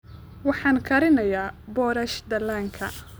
Waxaan karinayaa boorash dhallaanka